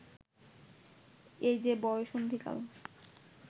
এ যে বয়ঃসন্ধিকাল